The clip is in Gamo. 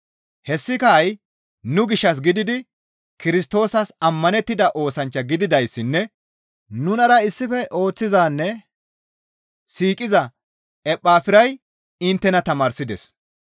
Hessaka ha7i nu gishshas gididi Kirstoosas ammanettida oosanchcha gididayssinne nunara issife ooththizanne siiqiza Ephafiray inttena tamaarsides.